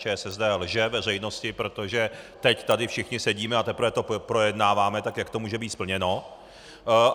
ČSSD lže veřejnosti, protože teď tady všichni sedíme a teprve to projednáváme, tak jak to může být splněno?